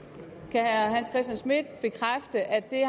hans christian schmidt bekræfte at det